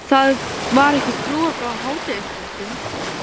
Það var ekki skrúfað frá hádegisfréttum.